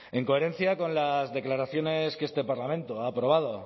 en coherencia con las declaraciones que este parlamento ha aprobado